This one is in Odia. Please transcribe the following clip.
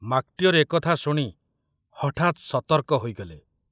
ମାକଟିଅର ଏକଥା ଶୁଣି ହଠାତ ସତର୍କ ହୋଇଗଲେ।